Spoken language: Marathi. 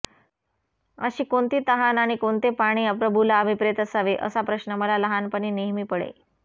अशी कोणती तहान आणि कोणते पाणी प्रभूला अभिप्रेत असावे असा प्रश्न मला लहानपणी नेहमी पडे